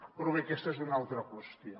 però bé aquesta és una altra qüestió